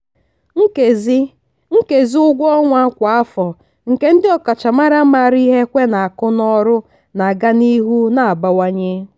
nkezi nkezi ụgwọ ọnwa kwa afọ nke ndị ọkachamara maara ihe ekwe n'akụ n'ọrụ na-aga n'ihu na-abawanye.